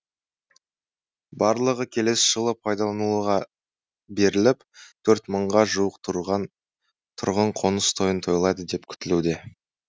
барлығы келесі жылы пайдалануға беріліп төрт мыңға жуық тұрғын қоныс тойын тойлайды деп күтілуде